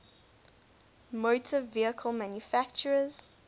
motor vehicle manufacturers